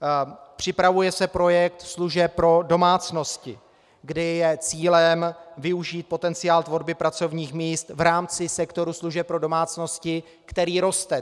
Připravuje se projekt služeb pro domácnosti, kde je cílem využít potenciál tvorby pracovních míst v rámci sektoru služeb pro domácnosti, který roste.